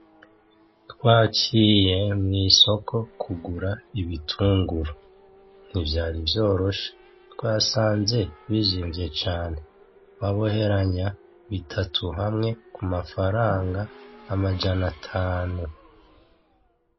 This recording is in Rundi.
Twaciye mw'isoko kugura ibitunguru. Ntivyari vyoroshe twasanze bizimvye cane, baboheranya bitatu hamwe k'umafaranga amajana atanu.